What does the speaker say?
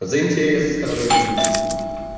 за интересы страны гибнут